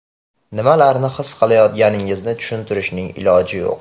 Nimalarni his qilayotganingizni tushuntirishning iloji yo‘q.